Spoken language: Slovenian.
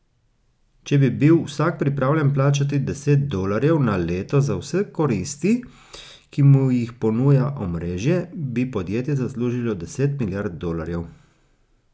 Če bi bil vsak pripravljen plačati deset dolarjev na leto za vse koristi, ki mu jih ponuja omrežje, bi podjetje zaslužilo deset milijard dolarjev.